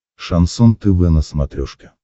шансон тв на смотрешке